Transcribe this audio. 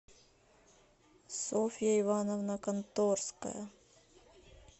софья ивановна конторская